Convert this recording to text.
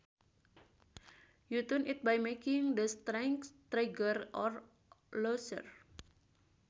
You tune it by making the strings tighter or looser